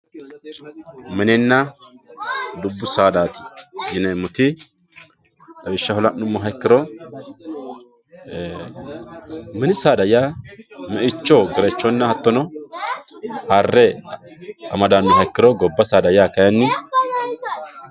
mininna dubbu sadaati yineemoti lawishshaho la'nummoha ikkiro mini saada yaa me"icho, gerechonna hattono harre amadannoha ikkiro gobba saada yaa kayiinni